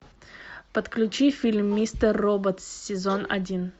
подключи фильм мистер робот сезон один